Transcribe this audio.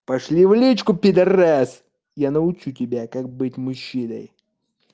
пошли в личку пидорас я научу тебя как быть мужчиной